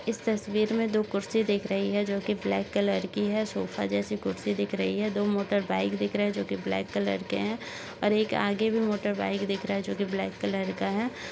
इस तस्वीर में दो कुर्सी दिख रही हैं जोकि ब्लैक कलर की हैं। सोफा जैसी कुर्सी दिख रही है। दो मोटरबाइक दिख रहे हैं जोकि ब्लैक कलर के हैं और एक आगे भी मोटरबाइक दिख रहा है जोकि ब्लैक कलर का है।